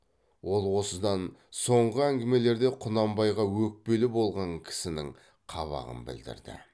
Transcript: ол осыдан соңғы әңгімелерде құнанбайға өкпелі болған кісінің қабағын білдірді